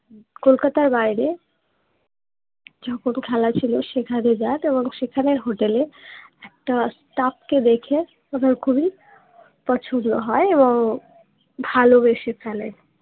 কলকাতার বাইরে যখন খেলা ছিলো সেখানে যান এবং সেখানে হোটেল এ একটা স্টাফ কে দেখে ওনার খুবই পছন্দ হয় এবং ভালোবেসে ফেলেন